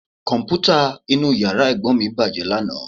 Kọ̀m̀pútà inú yàrá Ẹ̀gbọ́n mi bàjẹ́ lánàá